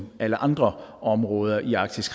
alle andre områder i arktis